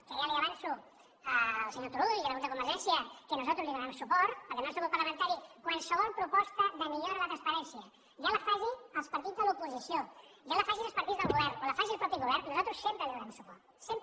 que ja avanço al senyor turull i al grup de convergència que nosaltres li donarem suport perquè el nostre grup parlamentari a qualsevol proposta de millora de la transparència ja la facin els partits de l’oposició ja la facin els partits del govern o la faci el mateix govern nosaltres sempre hi donarem suport sempre